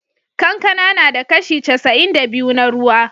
Kankana na da kashi casa'in da biyu na ruwa.